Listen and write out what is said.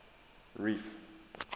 reef